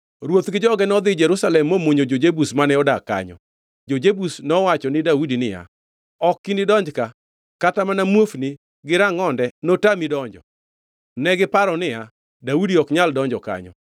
Ruoth gi joge nodhi Jerusalem momonjo jo-Jebus mane odak kanyo. Jo-Jebus nowacho ni Daudi niya, “Ok inidonj ka; kata mana muofuni gi rangʼonde notami donjo.” Negiparo niya, “Daudi ok nyal donjo kanyo.”